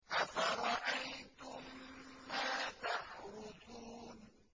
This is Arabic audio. أَفَرَأَيْتُم مَّا تَحْرُثُونَ